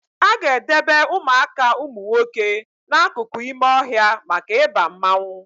Aga edebe Ụmụaka umunwoke na akụkụ ime ọhịa maka Ịba mmanwụ